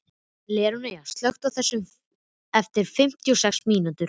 Leónóra, slökktu á þessu eftir fimmtíu og sex mínútur.